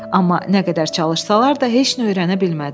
Amma nə qədər çalışsalar da heç nə öyrənə bilmədilər.